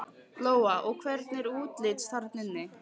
Lóa: Og hvernig er útlits þarna inni?